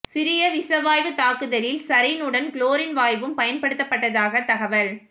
சிரிய விஷவாயு தாக்குதலில் சரீன் உடன் குளோரின் வாயுவும் பயன்படுத்தப்பட்டதாக தகவல்